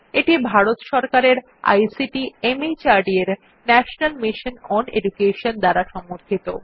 এটি ভারত সরকারের আইসিটি মাহর্দ এর ন্যাশনাল মিশন ওন এডুকেশন দ্বারা সমর্থিত